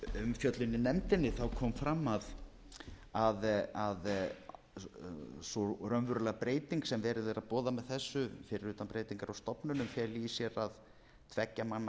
umfjöllun í nefndinni kom fram að sú raunverulega breyting sem verið er að boða með þessu fyrir utan breytingar á stofnunum feli í sér að tveggja manna